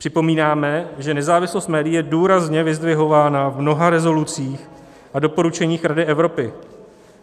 Připomínáme, že nezávislost médií je důrazně vyzdvihována v mnoha rezolucích a doporučeních Rady Evropy.